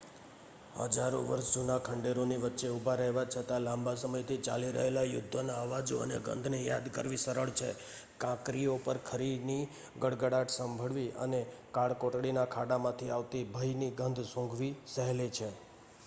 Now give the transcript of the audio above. હજારો વર્ષ જૂના ખંડેરોની વચ્ચે ઊભા રહેવા છતાં લાંબા સમયથી ચાલી રહેલા યુદ્ધોના અવાજો અને ગંધને યાદ કરવી સરળ છે કાંકરીઓ પર ખરીની ગડગડાટ સાંભળવી અને કાળકોટડીના ખાડામાંથી આવતી ભયની ગંધ સૂંઘવી સહેલી છે